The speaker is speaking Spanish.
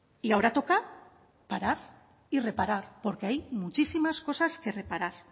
y ahora toca parar y reparar porque hay muchísimas cosas que reparar